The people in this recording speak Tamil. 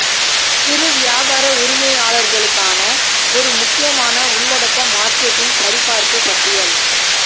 சிறு வியாபார உரிமையாளர்களுக்கான ஒரு முக்கியமான உள்ளடக்க மார்க்கெட்டிங் சரிபார்ப்பு பட்டியல்